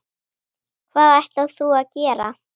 Hvað ætlar þú að gera?